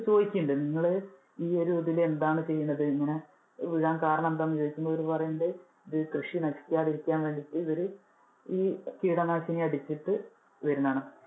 ചോദിക്കുന്നുണ്ട്. നിങ്ങൾ ഈ ഒരു ഇതില് എന്താണ് ചെയ്യുന്നത്, ഇത് ഇങ്ങനെ വീഴാൻ കാരണം എന്താണെന്നു ചോദിക്കുമ്പോൾ ഇവര് പറയുണ്ട്. ഇത് കൃഷി നശിക്കാതെ ഇരിക്കാൻ വേണ്ടിട്ട് ഇവര് ഈ കീടനാശിനി അടിച്ചിട്ട് വരുന്നതാണ്.